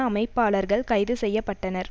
அமைப்பாளர்கள் கைது செய்ய பட்டனர்